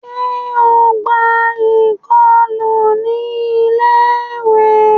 Ṣe o n gbà ikọlu ní ilé-ìwé?